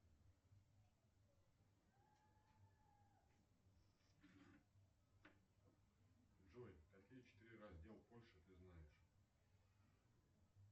джой какие четыре раздела польши ты знаешь